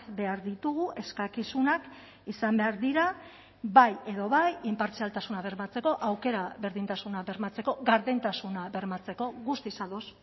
behar ditugu eskakizunak izan behar dira bai edo bai inpartzialtasuna bermatzeko aukera berdintasuna bermatzeko gardentasuna bermatzeko guztiz ados